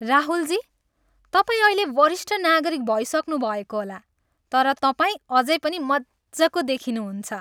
राहुलजी, तपाईँ अहिले वरिष्ठ नागरिक भइसक्नु भएको होला, तर तपाईँ अझै पनि मज्जको देखिनुहुन्छ।